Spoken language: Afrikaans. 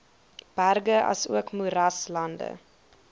berge asook moeraslande